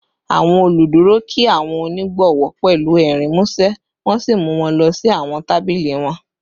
Awọn oluduro kí awọn onigbowo pẹlu ẹrin musẹ wọn si mu wọn lọ si awọn tabili wọn